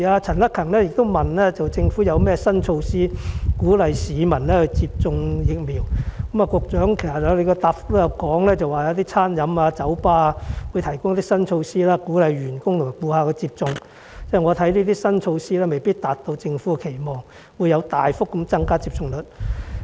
陳克勤議員詢問政府有甚麼新措施鼓勵市民接種疫苗，局長的主體答覆提到餐飲處所、酒吧等有一些新措施鼓勵員工和顧客接種，但我覺得這些新措施未必能達到政府期望，令接種率大幅增加。